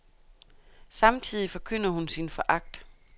Samtidig forkynder hun sin foragt.